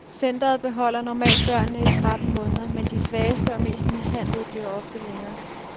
Centret beholder normalt børnene i tretten måneder, men de svageste og mest mishandlede bliver ofte længere.